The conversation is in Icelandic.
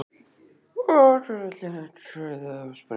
Hver vill kenna kauða að sprengja??